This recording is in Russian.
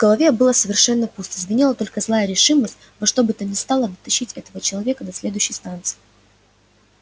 в голове было совершенно пусто звенела только злая решимость во что бы то ни стало дотащить этого человека до следующей станции